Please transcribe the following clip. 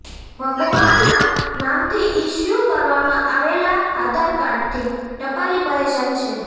ભગવાના નામથી ઇશ્યૂ કરવામાં આવેલા આધારકાર્ડથી ટપાલી પરેશાન છે